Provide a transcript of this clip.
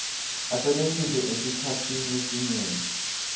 asebentise esikhatsini lesinyenti